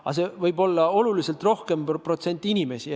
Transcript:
Aga see võib protsentuaalselt olla oluliselt suurem hulk inimesi.